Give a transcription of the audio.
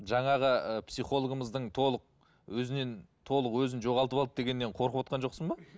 жаңағы ы психологымыздың толық өзінен толық өзін жоғалтып алды дегенінен қорқывотқан жоқсың ба